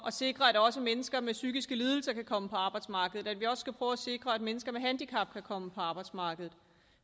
at sikre at også mennesker med psykiske lidelser kan komme på arbejdsmarkedet og skal prøve at sikre at mennesker med handicap kan komme på arbejdsmarkedet